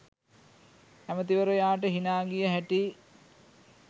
ඇමැතිවරයාට හිනා ගිය හැටි